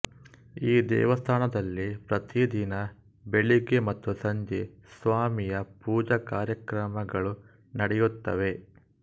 ಈ ದೇವಸ್ಥಾನದಲ್ಲಿ ಪ್ರತಿದಿನ ಬೆಳಗ್ಗೆ ಮತ್ತು ಸಂಜೆ ಸ್ವಾಮಿಯ ಪೂಜ ಕಾರ್ಯಕ್ರಮಗಳುನಡೆಯುತ್ತವೆ